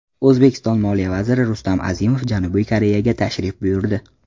O‘zbekiston moliya vaziri Rustam Azimov Janubiy Koreyaga tashrif buyurdi.